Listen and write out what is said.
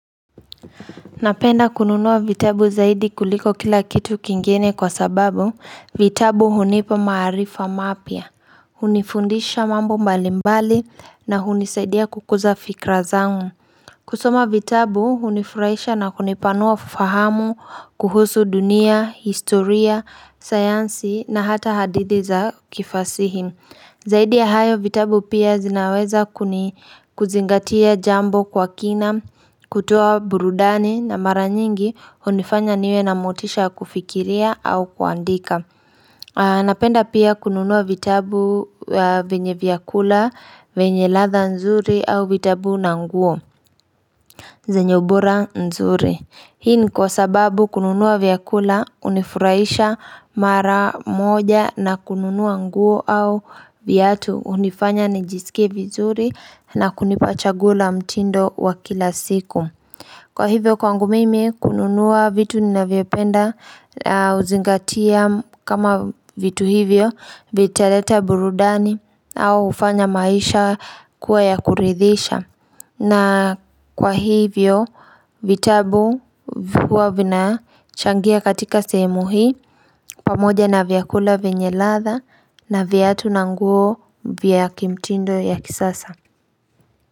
Napenda kununua vitabu zaidi kuliko kila kitu kingine kwa sababu vitabu hunipa maarifa mapya hunifundisha mambo mbalimbali na hunisaidia kukuza fikra zangu kusoma vitabu hunifurahisha na kunipanua fahamu kuhusu dunia historia sayansi na hata hadithi za kifasihi zaidi ya hayo vitabu pia zinaweza kuzingatia jambo kwa kina kutoa burudani na mara nyingi hunifanya niwe na motisha ya kufikiria au kuandika napenda pia kununua vitabu vyenye vyakula vyenye ladha nzuri au vitabu na nguo zenye ubora mzuri hii ni kwa sababu kununua vyakula hunifurahisha mara moja na kununua nguo au viatu hunifanya nijisike vizuri na kunipa chaguo la mtindo wa kila siku kwa hivyo kwangu mimi kununua vitu ninavyopenda huzingatia kama vitu hivyo vitaleta burudani au hufanya maisha kuwa ya kuridhisha na kwa hivyo vitabu huwa vina changia katika sehemu hii pamoja na vyakula vyenye ladha na viatu na nguo vya kimtindo ya kisasa.